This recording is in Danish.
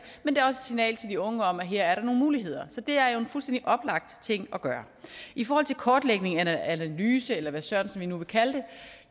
men det er signal til de unge om at her er der nogle muligheder så det er en fuldstændig oplagt ting at gøre i forhold til kortlægningen analysen eller hvad sørensen vi nu vil kalde det